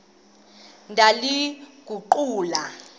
ndaliguqula